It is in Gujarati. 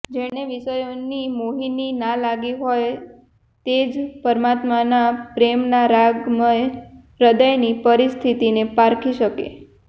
જેને વિષયોની મોહિની ના લાગી હોય તે જ પરમાત્માના પ્રેમીના રાગમય હૃદયની પરિસ્થિતિને પારખી શકે